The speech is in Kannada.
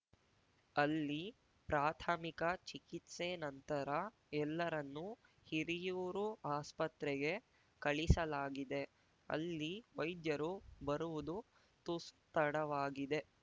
ಅಲ್ಲಿ ಪ್ರಾಥಮಿಕ ಚಿಕಿತ್ಸೆ ನಂತರ ಎಲ್ಲರನ್ನು ಹಿರಿಯೂರು ಆಸ್ಪತ್ರೆಗೆ ಕಳಿಸಲಾಗಿದೆ ಅಲ್ಲಿ ವೈದ್ಯರು ಬರುವುದು ತುಸು ತಡವಾಗಿದೆ